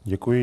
Děkuji.